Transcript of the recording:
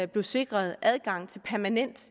blev sikret adgang til permanent